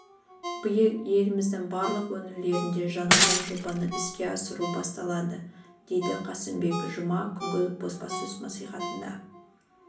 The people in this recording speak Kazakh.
биыл еліміздің барлық өңірлерінде жаңадан жобаны іске асыру басталады деді қасымбек жұма күнгі баспасөз мәслихатында